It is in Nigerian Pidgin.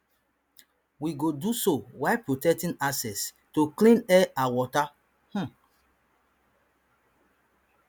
we go do so while protecting access to clean air and water um